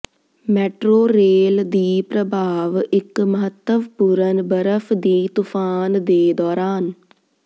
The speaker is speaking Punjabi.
ਮੈਟਰੋ ਰੇਲ ਦੀ ਪ੍ਰਭਾਵ ਇੱਕ ਮਹੱਤਵਪੂਰਨ ਬਰਫ ਦੀ ਤੂਫਾਨ ਦੇ ਦੌਰਾਨ